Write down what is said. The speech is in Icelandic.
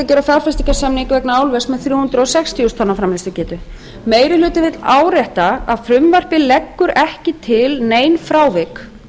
gera fjárfestingarsamning vegna álvers með þrjú hundruð sextíu þúsund tonna framleiðslugetu meiri hlutinn vill árétta að frumvarpið leggur ekki til nein frávik